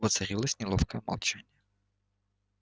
воцарилось неловкое молчание